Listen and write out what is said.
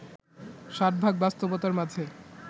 ষাটভাগ বাস্তবতার মাঝে